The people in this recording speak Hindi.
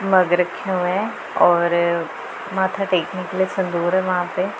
मग रखे हुए हैं और माथा टेकने के लिए संदूर है वहां पे--